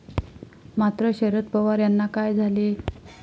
मात्र, शरद पवार यांना काय झाले?